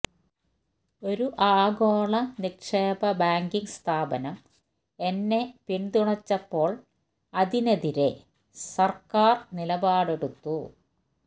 ഒരു ആഗോള നിക്ഷേപ ബാങ്കിംഗ് സ്ഥാപനം എന്നെ പിന്തുണച്ചപ്പോള് അതിനെതിരെ സര്ക്കാര് നിലപാടെടുത്തു